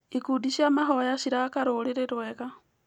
Ikundi cia mahoya ciraka rũrĩrĩ rwega.